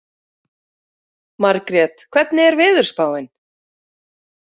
Margrét, hvernig er veðurspáin?